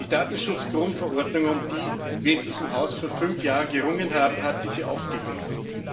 Die Datenschutz-Grundverordnung, um die wir in diesem Haus vor fünf Jahren gerungen haben, hat diese aufgegriffen.